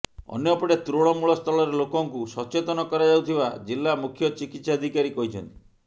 ଅନ୍ୟପଟେ ତୃଣମୂଳ ସ୍ତରରେ ଲୋକଙ୍କୁ ସଚେତନ କରାଯାଉଥିବା ଜିଲ୍ଲା ମୁଖ୍ୟ ଚିକିତ୍ସାଧିକାରୀ କହିଛନ୍ତି